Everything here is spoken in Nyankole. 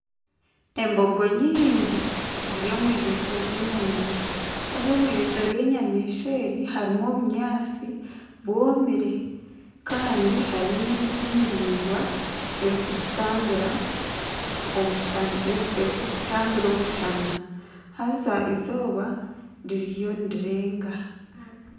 Embogo nyine ziri omu irindiro ry'enyamaishwa haza omu irindiro ry'enyamaishwa eri harimu obunyaatsi bwomire kandi harimu n'emiti miraingwa erikuzitambira omushana haza izooba ririyo nirirenga.